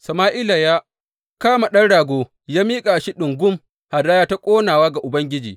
Sama’ila ya kama ɗan rago ya miƙa shi ɗungum hadaya ta ƙonawa ga Ubangiji.